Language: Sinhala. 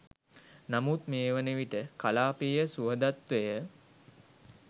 නමුත් මේ වනවිට කලාපීය සුහදත්වය